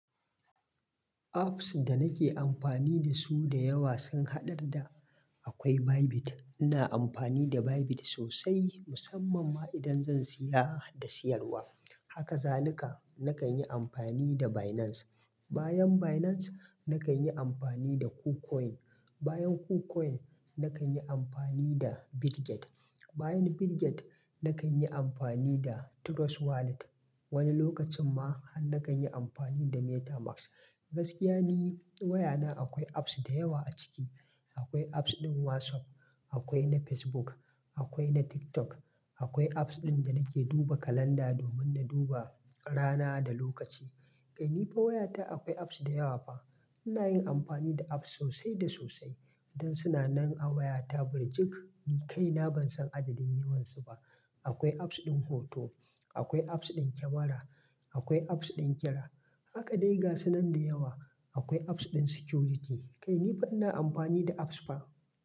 Apps da nake amfani da su da yawa sun haɗar da akwai Bybit, ina amfani da Bybit sosai, musamman ma idan zan siya da siyarwa. Haka zalika nakan yi amfani da Binance. Bayan Binance nakan yi amfani da KuCoin. Bayan KuCoin nakan yi amfani da Bitget. Bayan Bitget nakan yi amfani da Trust Wallet. Wani lokacin ma han nakan yi amfani da MetaMask, Gaskiya ni wayana akwai apps da yawa a ciki. Akwai apps ɗin WhatsApp, akwai na Facebook, akwai na TikTok, akwai apps ɗin da nake duba kalanda domin na duba rana da lokaci. Kai ni ba wayata akwai apps da yawa ba. Ina yin amfani da apps sosai da sosai. Don sunanan a wayata burjik ni kaina ban san adadin yawan su ba. Akwai apps ɗin hoto, akwai apps ɗin kyamara, akwai apps ɗin kira Haka dai gasunan da yawa. Akwai apps ɗin security. Kai ni fa ina amfani da apps fa.